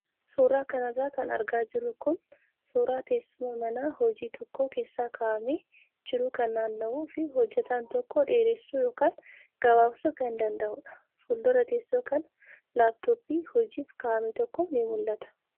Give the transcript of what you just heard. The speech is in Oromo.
Suuraa kanarra kan argaa jirru kun suuraa teessuma mana hojii tokko keessa kaa'amee jiru kan naanna'uu fi hojjataan tokko dheeressuu yookaan gabaabsuu kan danda'udha. Fuuldura teessoo kanaa laappitooppii hojiif kaa'ame tokko ni mul'ata.